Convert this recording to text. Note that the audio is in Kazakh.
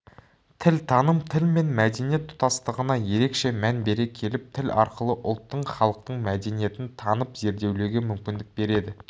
тілтаным тіл мен мәдениет тұтастығына ерекше мән бере келіп тіл арқылы ұлттың халықтың мәдениетін танып зерделеуге мүмкіндік береді